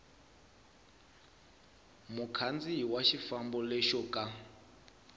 mukhandziyi wa xifambo lexo ka